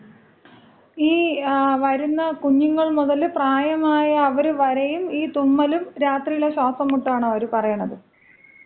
ഈ വരുന്ന കുഞ്ഞുങ്ങള് മുതല് പ്രായം ആയ അവർ വരെയും ഈ തുമ്മലും രാത്രിയിലെ ശ്വാസം മുട്ടാണോ അവർ പറയണത്?